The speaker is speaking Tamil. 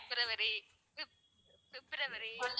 பிப்ரவரி பிப்~பிப்ரவரி,